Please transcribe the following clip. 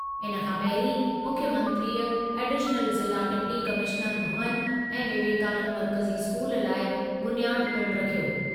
इनखां पहिरीं मुख्यमंत्रीअ एडिश्नल ज़िला डिप्टी कमिश्नर भवनु ऐं विवेकानंद मर्कज़ी स्कूल लाइ बुनियादु पिणु रखियो।